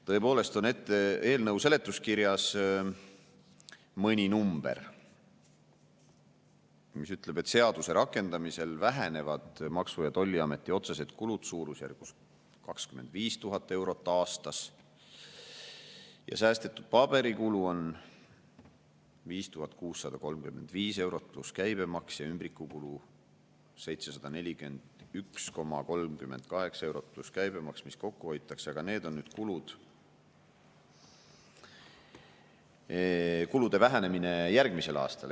Tõepoolest on eelnõu seletuskirjas mõni number, mis ütleb, et seaduse rakendamisel vähenevad Maksu‑ ja Tolliameti otsesed kulud suurusjärgus 25 000 eurot aastas ja säästetud paberikulu on 5635 eurot pluss käibemaks ja ümbrikukulu 741,38 eurot pluss käibemaks, mis kokku hoitakse, aga need on kulude vähenemine järgmisel aastal.